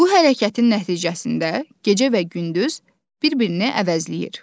Bu hərəkətin nəticəsində gecə və gündüz bir-birini əvəzləyir.